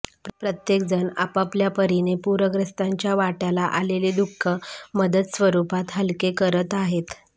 प्रत्येकजण आपापल्यापरीने पूरग्रस्तांच्या वाट्याला आलेले दुःख मदत स्वरूपात हलके करत आहेत